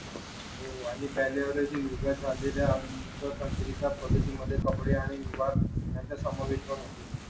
हो पाणी प्यायल्यावर युगात चाललेल्या तांत्रिक पद्धतीमध्ये कपडे आणि विभाग यांचा समावेश पण होतो